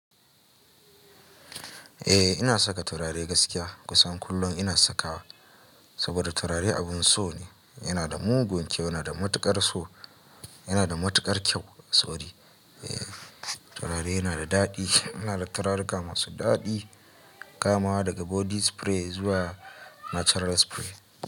Eh ina saka turare gaskiya kusan kullum ina sakawa, saboda turare abun so ne yana da mugun kyau, yana da matukar so, yana da matukar kyau. Sorry eh turare yana da daɗi, ina da turaruka masu daɗi, kamawa daga body spray zuwa natural spray.